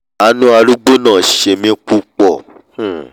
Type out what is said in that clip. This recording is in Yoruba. àánú arúgbó náà ṣe mí púpọ̀